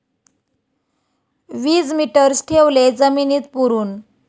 वीजमीटर्स ठेवले जमिनीत पुरून